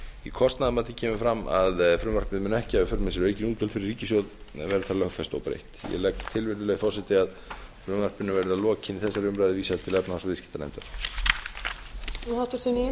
í kostnaðarmati kemur fram að frumvarpið mun ekki hafa í för með sér aukin útgjöld fyrir ríkissjóð og verður það lögfest óbreytt ég legg svo til virðulegi forseti að frumvarpinu verði að lokinni þessari umræðu vísað til annarrar umræðu og efnahags og viðskiptanefndar